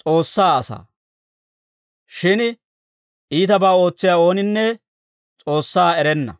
S'oossaa asaa; shin iitabaa ootsiyaa ooninne S'oossaa erenna.